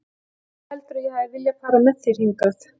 Af hverju heldurðu að ég hafi viljað fara með þér hingað?